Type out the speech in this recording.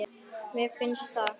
Já, mér finnst það.